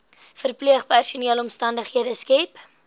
verpleegpersoneel omstandighede skep